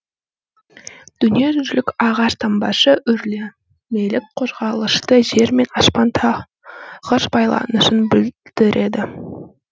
дүниежүзілік ағаш таңбасы өрлемелік қозғалысты жер мен аспанда тығыз байланысын білдіреді